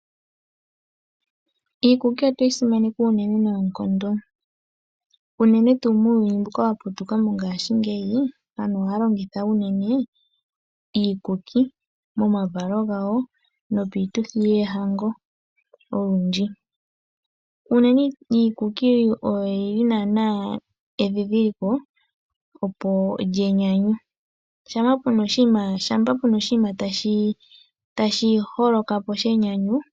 Iikuki otweyi simaneka uunene noonkondo unene tuu muuyuni mbuka wa putuka mongaashingeyi, aantu ohaya longitha unene iikuki momavalo gawo nopiituthi yoohango oludji. Unene iikuki oyo yili naana endhindhiliko lyenyanyu shampa puna oshiima tashi holoka po shenyanyu